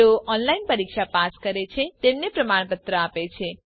જેઓ ઓનલાઇન પરીક્ષા પાસ કરે છે તેમને પ્રમાણપત્ર આપે છે